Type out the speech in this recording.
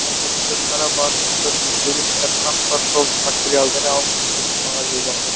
ал бүгінгі шара барысында төселіп жатқан тас жолдың материалдары алынып зертханаға жолданды